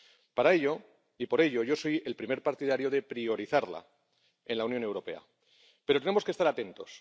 Para ello, y por ello, yo soy el primer partidario de priorizarla en la Unión Europea, pero tenemos que estar atentos.